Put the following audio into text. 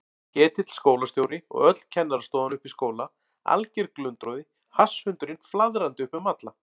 Ketill skólastjóri og öll kennarastofan uppi í skóla, alger glundroði, hasshundurinn flaðrandi upp um alla.